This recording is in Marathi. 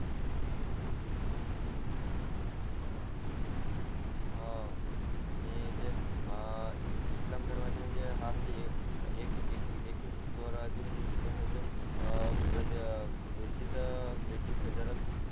हो तेपण वाडून जाइल हाव आणि जे इस्लाम धर्माचे म्हणजे हा म्हणजे एकी एकी एकी एकी विश्वास हा परत